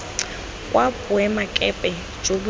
kwa boemakepe jo bo tseneng